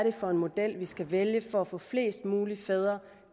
er for en model vi skal vælge for at få flest mulige fædre